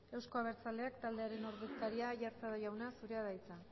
euzko abertzaleak taldearen ordezkaria aiartza jauna zurea da hitza